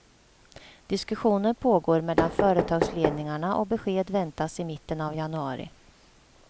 Diskussioner pågår mellan företagsledningarna och besked väntas i mitten av januari.